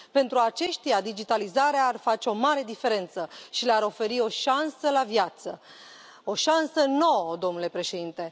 Pentru aceștia, digitalizarea ar face o mare diferență și le ar oferi o șansă la viață, o șansă nouă, domnule președinte.